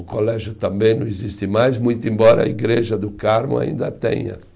O colégio também não existe mais, muito embora a Igreja do Carmo ainda tenha